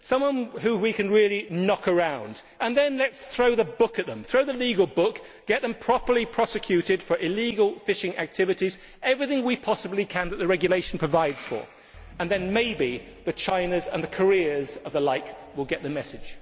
Someone whom we can really knock around, and then let us throw the book at them, throw the legal book, get them properly prosecuted for illegal fishing activities, everything we possibly can do that the regulation provides for, and then maybe the Chinas and the Koreas and the like will get the message.